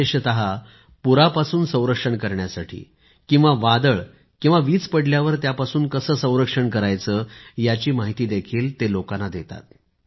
विशेषतः पूरापासून संरक्षण करण्यासाठी किंवा वादळ आणि वीज पडल्यावर त्यापासून कसे संरक्षण करायचे याची माहितीही ते लोकांना देतात